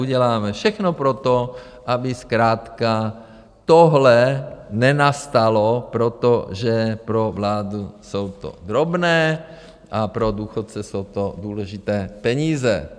Uděláme všechno pro to, aby zkrátka tohle nenastalo, protože pro vládu jsou to drobné, ale pro důchodce jsou to důležité peníze.